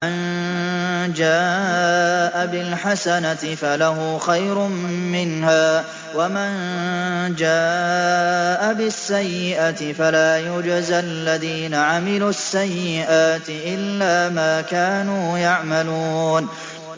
مَن جَاءَ بِالْحَسَنَةِ فَلَهُ خَيْرٌ مِّنْهَا ۖ وَمَن جَاءَ بِالسَّيِّئَةِ فَلَا يُجْزَى الَّذِينَ عَمِلُوا السَّيِّئَاتِ إِلَّا مَا كَانُوا يَعْمَلُونَ